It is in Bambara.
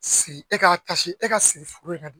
Sigi e ka e ka sigi in na dɛ